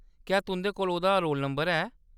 क्या तुंʼदे कोल ओह्‌‌‌दा रोल नंबर है ?